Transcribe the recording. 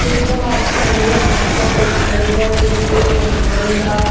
देखने में आइसक्रीम लग रही है। बहुत ही ज्यादा टेस्टी लग रही है। पिंक व वनिला --